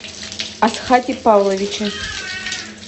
асхате павловиче